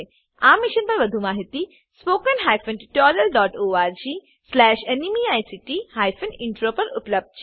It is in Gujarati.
આ મિશન પરની વધુ માહિતી spoken tutorialorgnmeict ઇન્ટ્રો પર ઉપલબ્ધ છે